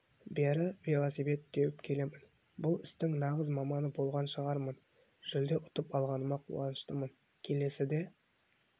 бері велосипед теуіп келемін бұл істің нағыз маманы болған шығармын жүлде ұтып алғаныма қуаныштымын келесіде